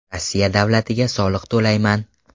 Rossiya davlatiga soliq to‘layman.